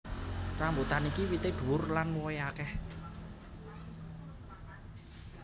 Rambutan iki wité dhuwur lan wohé akeh